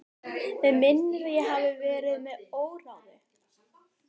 Mig minnir að ég hafi verið með óráði.